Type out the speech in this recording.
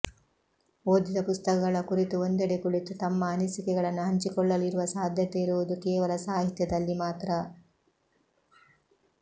ಓದಿದ ಪುಸ್ತಕಗಳ ಕುರಿತು ಒಂದೆಡೆ ಕುಳಿತು ತಮ್ಮ ಅನಿಸಿಕೆಗಳನ್ನು ಹಂಚಿಕೊಳ್ಳಲು ಇರುವ ಸಾಧ್ಯತೆ ಇರುವುದು ಕೇವಲ ಸಾಹಿತ್ಯದಲ್ಲಿ ಮಾತ್ರ